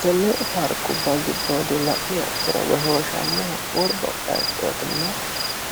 Tenne paarikkuba giddodi laniha ikkiro goshshoshanoho woribba bayichottina